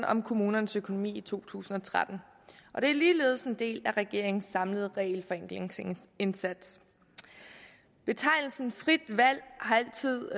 om kommunernes økonomi i to tusind og tretten og det er ligeledes en del af regeringens samlede regelforenklingsindsats betegnelsen frit valg har altid